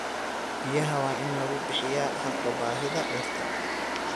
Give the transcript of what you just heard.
Biyaha waa in lagu bixiyaa hadba baahida dhirta.